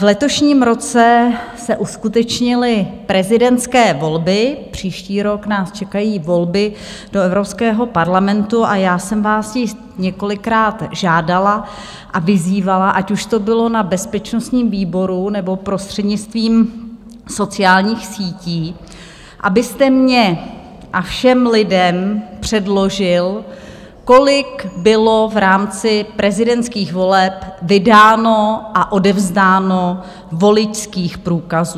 V letošním roce se uskutečnily prezidentské volby, příští rok nás čekají volby do Evropského parlamentu a já jsem vás již několikrát žádala a vyzývala, ať už to bylo na bezpečnostním výboru, nebo prostřednictvím sociálních sítí, abyste mně a všem lidem předložil, kolik bylo v rámci prezidentských voleb vydáno a odevzdáno voličských průkazů.